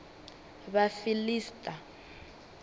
vhafiḽista